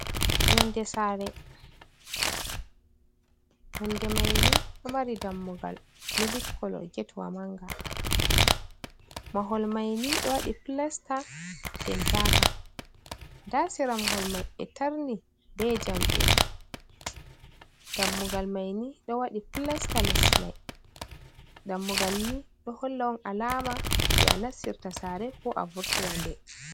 Yonde saare. Yonde mai ni ɗo mari dammugal milik kolo be get wa manga. Mahol mai ni ɗo waɗi pilesta pentaaka. Nda sera mahol mai ɓe tarni be jamɗe. Dammugal maini ɗo waɗi pilesta les mai. Dammugal ni ɗo holla on alaama je a nastirta saare, ko a vurtira nde.